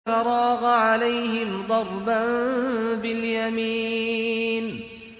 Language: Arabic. فَرَاغَ عَلَيْهِمْ ضَرْبًا بِالْيَمِينِ